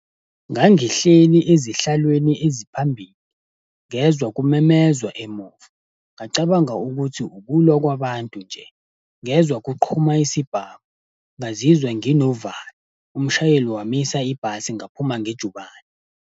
Ngangihleli ezihlalweni eziphambili, ngezwa kumemezwa emuva, ngacabanga ukuthi ukulwa kwabantu nje. Ngezwa kuqhuma isibhamu, ngazizwa nginovalo, umshayeli wamisa ibhasi ngaphuma ngejubane.